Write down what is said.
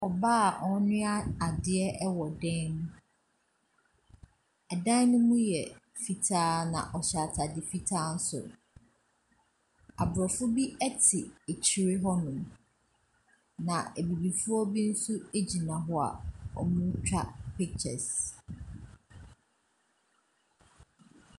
Ɔbaa a ɔrenoa adeɛ wɔ dan mu, dan ne mu yɛ fitaa na ɔhyɛ ataare fitaa nso, aborɔfo bi te akyire hɔnom, na abibifoɔ bi nso gyina hɔ a wɔretwa pictures.